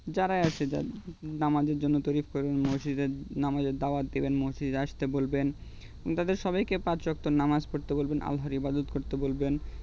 যারাই আছে নামাজের জন্য তৈরী করবেন মসজিদে নামাজের দাওয়াত দিবেন মসজিদে আসতে বলবেন তাদের সবাইকে পাঁচ ওয়াক্ত নামাজ পড়তে বলবেন আল্লাহর ইবাদত করতে বলবেন